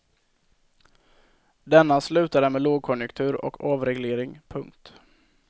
Denna slutade med lågkonjunktur och avreglering. punkt